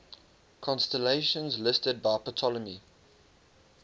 constellations listed by ptolemy